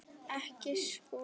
Ekki Skúla!